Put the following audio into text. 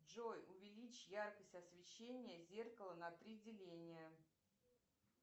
джой увеличь яркость освещения зеркала на три деления